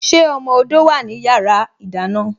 Ṣé ọmọ odó wá ní yàrá ìdáná?